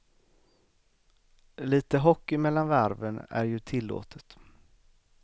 Lite hockey mellan varven är ju tillåtet.